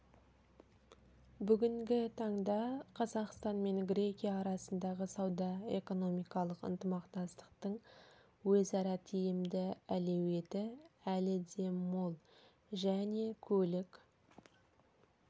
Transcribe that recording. бүгінгі таңда қазақстан мен грекия арасындағы сауда-экономикалық ынтымақтастықтың өзара тиімді әлеуеті әлі де мол және көлік